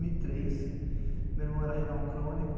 Meu irmão era renal crônico.